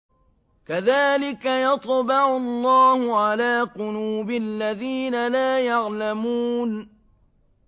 كَذَٰلِكَ يَطْبَعُ اللَّهُ عَلَىٰ قُلُوبِ الَّذِينَ لَا يَعْلَمُونَ